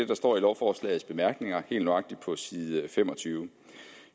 der står i lovforslagets bemærkninger helt nøjagtigt på side femogtyvende